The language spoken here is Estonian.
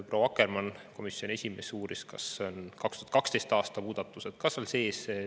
Proua Akkermann, komisjoni esimees, uuris, kas 2012. aasta muudatused on ka seal sees.